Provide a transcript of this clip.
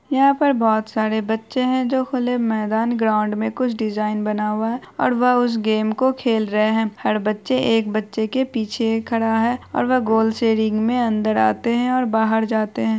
यहाँ पे बहुत सारे बच्चे है जो खुले मैदान ग्राउंड में कुछ डिजायन बना हुवा और वो उस गेम को खेल रहे है हर बच्चे एक बच्चे के पीछे खड़ा है और वह गोल से रिंग में अंदर आते और बहार जाते हैं।